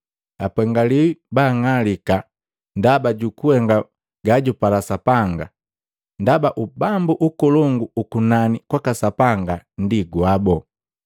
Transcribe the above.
Apengiwi baang'alika ndaba jukuhenga gajupala Sapanga, ndaba Ubambu ukolongu ukunani kwaka Sapanga ndi gwabo.